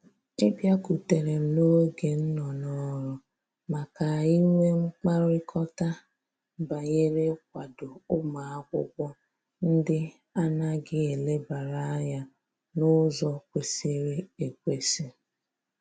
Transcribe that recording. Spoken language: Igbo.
Ị bịakutere m n'oge m nọ n'ọrụ, ma ka anyị nwe mkpakọrịta banyere ịkwado ụmụ akwụkwọ ndị a naghị elebara anya n'ụzọ kwesịrị ekwesị